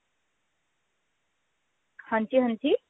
ਹਾਂਜੀ ਹਾਂਜੀ